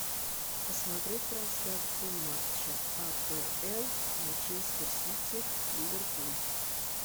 посмотреть трансляцию матча апл манчестер сити ливерпуль